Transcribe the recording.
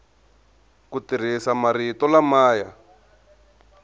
ku tirhisa marito lama ya